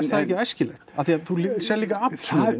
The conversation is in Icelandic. það ekki æskilegt af því að þú sérð líka aflsmuninn